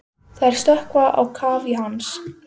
Þær sökkva á kaf í hans.